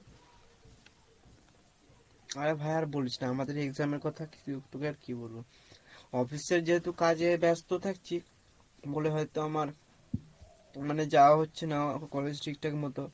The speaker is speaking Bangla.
আরে ভাই আর বলিস না, আমাদের exam এর কথা তোকে আর কি বলবো, office এর যেহেতু কাজে ব্যাস্ত থাকছি বলে হয়তো আমার মানে যাওয়া হচ্ছে না college ঠিক ঠাক মত,